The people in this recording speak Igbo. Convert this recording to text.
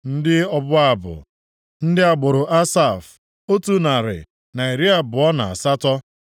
Ndị ọbụ abụ: Ndị agbụrụ Asaf, + 2:41 Asaf bụ otu nʼime ndị Livayị, onye Devid họpụtara maka ịhụ ihe banyere abụ. \+xt 1Ih 15:19; 16:5\+xt* otu narị, na iri abụọ na asatọ (128).